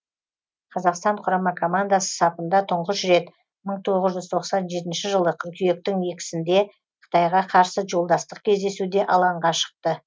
қазақстан құрама командасы сапында тұңғыш рет мың тоғыз жүз тоқсан жетінші жылы қыркүйектің екісінде қытайға қарсы жолдастық кездесуде алаңға шықты